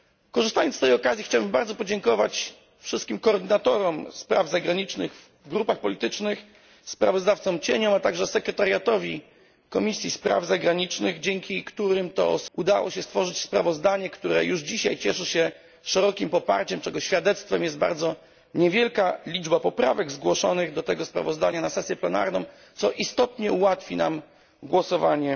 Korzystając z tej okazji chciałbym bardzo podziękować wszystkim koordynatorom spraw zagranicznych w grupach politycznych, kontrsprawozdawcom, a także sekretariatowi Komisji Spraw Zagranicznych, dzięki którym udało się stworzyć sprawozdanie, które już dzisiaj cieszy się szerokim poparciem, czego świadectwem jest bardzo niewielka liczba poprawek zgłoszonych do tego sprawozdania na sesję plenarną, co istotnie ułatwi nam jutro głosowanie.